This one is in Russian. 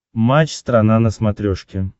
матч страна на смотрешке